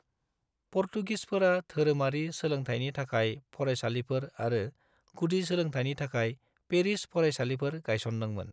पर्तुगिसफोरा धोरोमारि सोलोंथाइनि थाखाय फरायसालिफोर आरो गुदि सोलोंथाइनि थाखाय पेरिश फरायसालिफोर गायसनदोंमोन।